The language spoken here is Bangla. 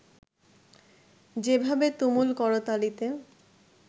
যেভাবে তুমুল করতালিতে